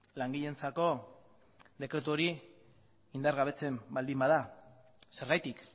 langileentzako dekretu hori indargabetzen baldin bada zergatik